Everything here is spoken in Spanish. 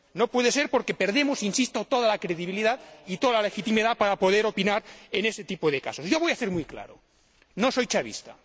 No puede ser porque perdemos —insisto— toda la credibilidad y toda la legitimidad para poder opinar en este tipo de casos. Yo voy a ser muy claro no soy chavista.